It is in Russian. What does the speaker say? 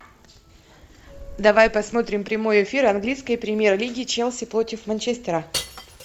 давай посмотрим прямой эфир английской премьер лиги челси против манчестера